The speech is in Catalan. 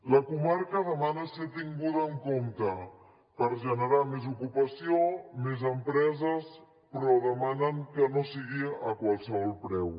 la comarca demana ser tinguda en compte per generar més ocupació més empreses però demanen que no sigui a qualsevol preu